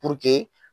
Puruke